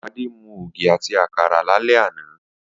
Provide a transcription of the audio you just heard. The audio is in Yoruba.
Adé mu ògì àti àkàrà lálé̩ àná